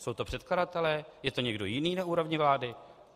Jsou to předkladatelé, je to někdo jiný na úrovni vlády?